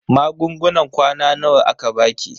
Magungunan kwana nawa aka baki?